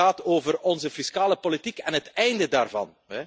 Dit gaat over onze fiscale politiek en het einde daarvan.